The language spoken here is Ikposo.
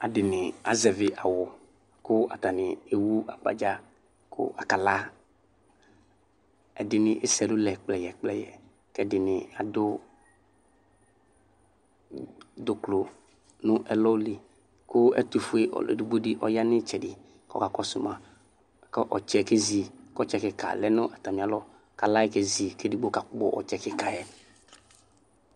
Adini azɛvi awʋ kʋ atani ewʋ agbadza kʋ akala ɛdini ese ɛlʋlɛ kpkɛyɛ kplɛyɛ ɛdini adʋ dʋklʋ nʋ ɛlɔ li kʋ ɛtʋfue ɔlʋ edigbo di yanʋ itsɛdi kɔsʋma kʋ ɔtsɛ kezi kʋ ɔtsɛ kika lɛnʋ atami alɔbkʋ ala kezi kʋ edigbo kakpɔ ɔtsɛ kikayɛ